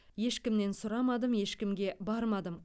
ешкіммен сұрамадым ешкімге бармадым